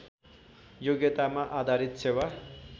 योग्यतामा आधारित सेवा